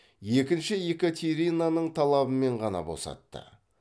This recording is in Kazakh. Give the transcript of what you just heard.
екінші екатеринаның талабымен ғана босатты